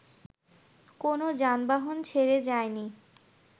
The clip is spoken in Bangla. কোন যানবাহন ছেড়ে যায়নি